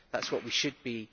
That is what we should be.